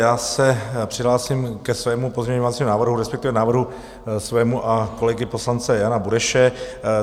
Já se přihlásím ke svému pozměňovacímu návrhu, respektive návrhu svému a kolegy poslance Jana Bureše.